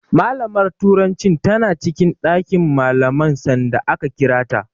Malamar turancin tana cikin ɗakin malaman sanda aka kira ta.